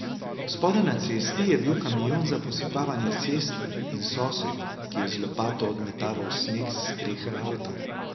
Spodaj na cesti je bil kamion za posipavanje cest in sosed, ki je z lopato odmetaval sneg s strehe avta.